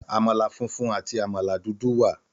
Àmàlà funfun àti àmàlà dúdú wà.